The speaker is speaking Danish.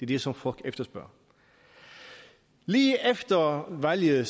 det som folk efterspørger lige efter valget